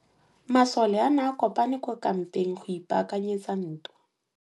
Masole a ne a kopane kwa kampeng go ipaakanyetsa ntwa.